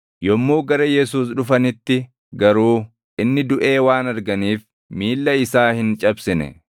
Yommuu gara Yesuus dhufanitti garuu inni duʼe waan arganiif miilla isaa hin cabsine.